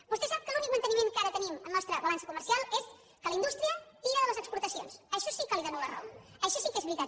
vostè sap que l’únic manteniment que ara tenim a la nostra balança comercial és que la indústria tira de les exportacions en això sí que li dono la raó això sí que és veritat